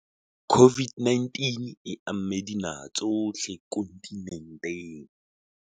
COVID-19 e amme dinaha tsohle kontinenteng.